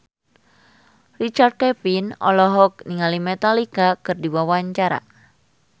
Richard Kevin olohok ningali Metallica keur diwawancara